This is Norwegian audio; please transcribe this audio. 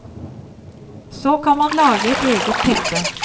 Så kan man lage et eget teppe.